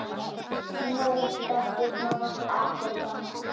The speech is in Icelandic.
Nú þekkist nánast ekkert annað.